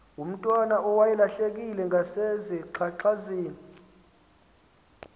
ngomntwana owayelahlekile ngasezingxangxasini